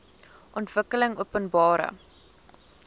ontwikkelingopenbare